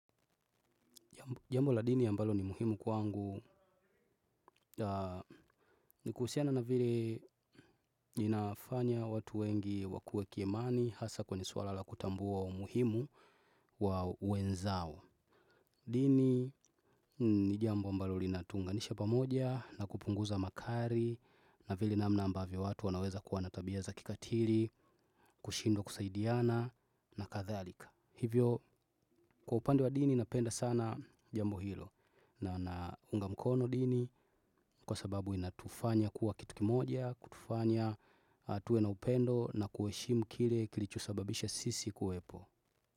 Jambo la dini ambalo ni muhimu kwangu ni kuhusiana na vile linafanya watu wengi wakue kiimani hasa kwenye suala la kutambua umuhimu wa wenzao. Dini ni jambo ambalo linatuunganisha pamoja na kupunguza makari na vile namna ambavyo watu wanaweza kuwa na tabia za kikatiri, kushindwa kusaidiana na kathalika. Hivyo kwa upande wa dini napenda sana jambo hilo na naunga mkono dini kwa sababu inatufanya kuwa kitu kimoja, kutufanya tuwe na upendo na kueshimu kile kilichosababisha sisi kuwepo.